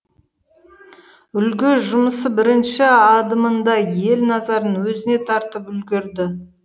үлгі жұмысы бірінші адымында ел назарын өзіне тартып үлгірді